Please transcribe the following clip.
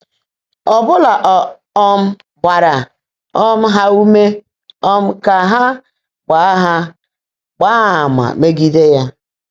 Ọ́bụ́ná ọ́ um gbààrá um há úmé um kà há “gbáá há “gbáá àmà̀,” meègídé yá.